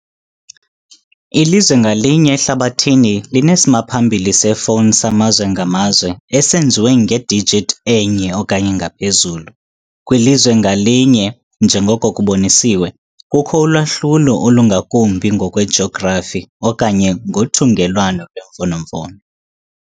Ilizwe ngalinye ehlabathini linesimaphambili sefowuni samazwe ngamazwe, esenziwe ngedijithi enye okanye ngaphezulu, kwilizwe ngalinye - njengoko kubonisiwe - kukho ulwahlulo olungakumbi ngokwejografi okanye ngothungelwano lwemfonomfono.